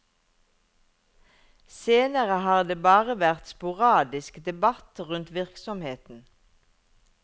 Senere har det bare vært sporadisk debatt rundt virksomheten.